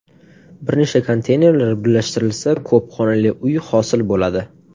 Bir nechta konteynerlar birlashtirilsa, ko‘p xonali uy hosil bo‘ladi.